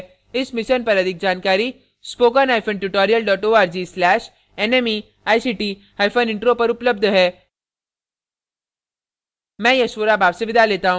इस मिशन पर अधिक जानकारी